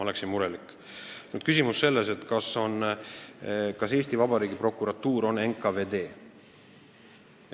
Nüüd küsimus, kas Eesti Vabariigi prokuratuur on NKVD.